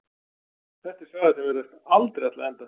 Þetta er saga sem virðist aldrei ætla að enda.